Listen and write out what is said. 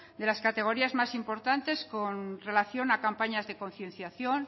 de las categorías más importantes con relación a campañas de concienciación